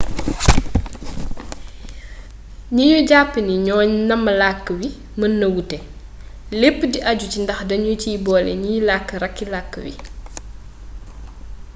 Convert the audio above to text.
gni ñu jàpp ni ñoo namm làkk wi mën na wuute lépp di aju ci ndax dañu ciy boole ñiy làkk rakki làkk wi dialecte